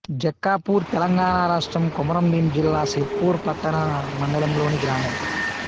జక్కాపూర్ తెలంగాణ రాష్ట్రం కొమరంభీం జిల్లా సిర్పూర్ పట్టణ మండలంలోని గ్రామం